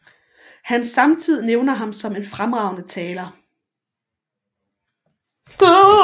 Hans samtid nævner ham som en fremragende taler